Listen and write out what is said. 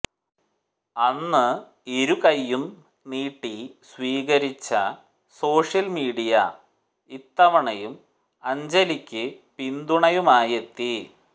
അന്ന് ഇരു കൈയും നീട്ടി സ്വീകരിച്ച സോഷ്യൽ മീഡിയ ഇത്തവണയും അഞ്ജലിക്ക് പിന്തുണയുമായെത്തി